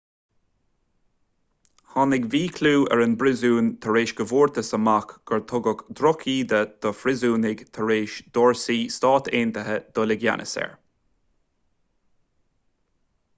tháinig míchlú ar an bpríosún tar éis go bhfuarthas amach gur tugadh drochíde do phríosúnaigh tar éis d'fhórsaí s.a. dul i gceannas air